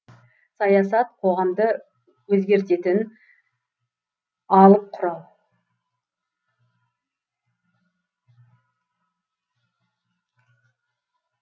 саясат қоғамды өзгертетін алып құрал